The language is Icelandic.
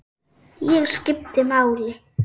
Ég skipti máli.